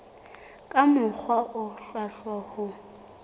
ka mokgwa o hlwahlwa ho